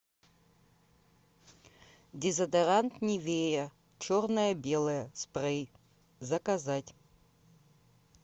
дезодорант нивея черное белое спрей заказать